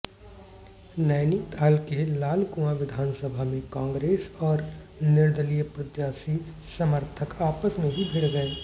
नैनीताल के लालकुआं विधानसभा में कांग्रेस और निर्दलीय प्रत्याशी समर्थक आपस में ही भिड़ गए